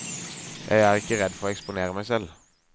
Jeg er ikke redd for å eksponere meg selv.